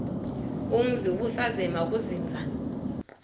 umzi ubusazema ukuzinza